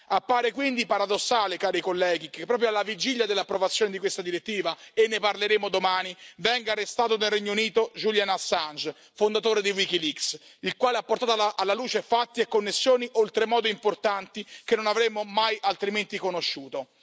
Appare quindi paradossale, cari colleghi, che proprio alla vigilia dell'approvazione di questa direttiva, e ne parleremo domani, venga arrestato nel Regno Unito Julian Assange, fondatore di WikiLeaks, il quale ha portato alla luce fatti e connessioni oltremodo importanti che non avremmo mai altrimenti conosciuto.